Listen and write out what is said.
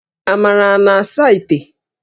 Amara a na-asa íté?